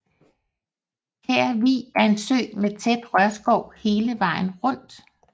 Kær Vig er en sø med tæt rørskov hele vejen rundt